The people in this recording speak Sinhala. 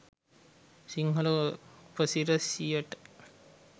සිංහල උපසිරැසියට.